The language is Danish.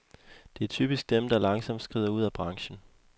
Det er typisk dem, der langsomt skrider ud af branchen.